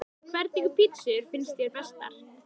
Hvernig pizzur finnst þér bestar?